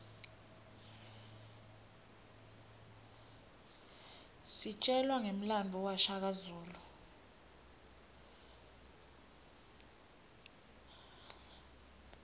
sitjelwa ngemlandvo washaka zulu